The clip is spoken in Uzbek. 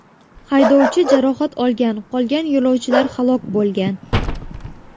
Haydovchi jarohat olgan, qolgan yo‘lovchilar halok bo‘lgan.